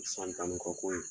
San tan ni kɔ ko ye.